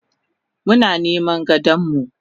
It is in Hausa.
Muna niman gadonmu.